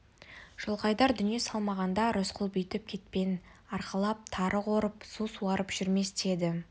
жылқайдар дүние салмағанда рысқұл бүйтіп кетпен арқалап тары қорып су суарып жүрмес те еді